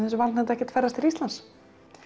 ekkert ferðast til Íslands